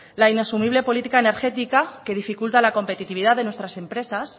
la inasumible política energética que dificulta la competitividad de nuestras empresas